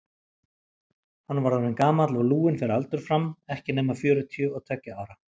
Hann var orðinn gamall og lúinn fyrir aldur fram, ekki nema fjörutíu og tveggja ára.